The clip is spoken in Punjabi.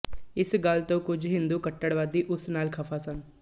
ਇਸ ਗੱਲ ਤੋਂ ਕੁਝ ਹਿੰਦੂ ਕੱਟੜਵਾਦੀ ਉਸ ਨਾਲ ਖਫ਼ਾ ਸਨ